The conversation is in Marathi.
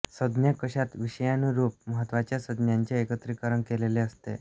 संज्ञा कोशात विषयानुरूप महत्त्वाच्या संज्ञांचे एकत्रीकरण केलेले असते